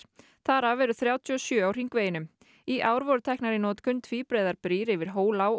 þar af eru þrjátíu og sjö á hringveginum í ár voru teknar í notkun tvíbreiðar brýr yfir